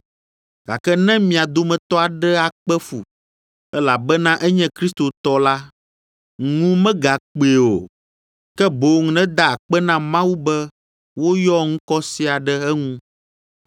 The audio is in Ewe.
Gake ne mia dometɔ aɖe akpe fu, elabena enye kristotɔ la, ŋu megakpee o, ke boŋ neda akpe na Mawu be woyɔ ŋkɔ sia ɖe eŋu.